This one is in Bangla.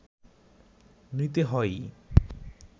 নিতে হয়ই